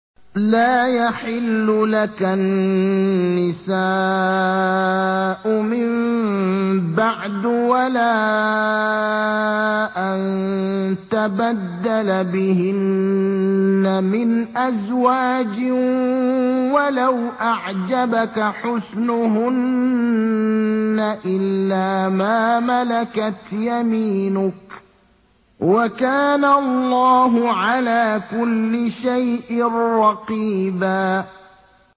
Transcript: لَّا يَحِلُّ لَكَ النِّسَاءُ مِن بَعْدُ وَلَا أَن تَبَدَّلَ بِهِنَّ مِنْ أَزْوَاجٍ وَلَوْ أَعْجَبَكَ حُسْنُهُنَّ إِلَّا مَا مَلَكَتْ يَمِينُكَ ۗ وَكَانَ اللَّهُ عَلَىٰ كُلِّ شَيْءٍ رَّقِيبًا